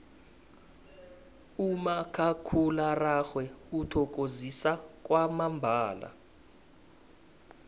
umakhakhulararhwe uthokozisa kwamambala